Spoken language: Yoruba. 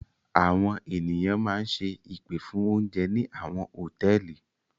Àwọn ènìyàn máa ń ṣe ìpè fún oúnjẹ ní àwọn hòtẹ́ẹ́lì.